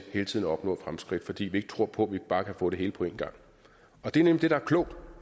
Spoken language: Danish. hele tiden at opnå fremskridt fordi vi ikke tror på at vi bare kan få det hele på en gang det er nemlig det der er klogt